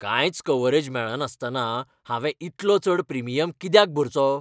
कांयच कव्हरेज मेळनासतना हांवें इतलो चड प्रिमियम कित्याक भरचो?